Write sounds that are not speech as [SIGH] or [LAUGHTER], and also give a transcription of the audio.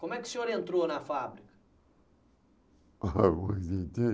Como é que o senhor entrou na fábrica [LAUGHS] [UNINTELLIGIBLE]